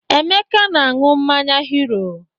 Emeka na-aṅụ mmanya Hiro.